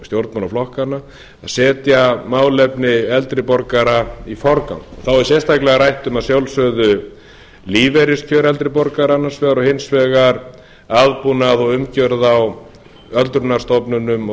stjórnmálaflokkana að setja málefni eldri borgara í forgang þá er sérstaklega rætt um að sjálfsögðu lífeyriskjör eldri borgara annars vegar og hins vegar aðbúnað og umgjörð á öldrunarstofnunum og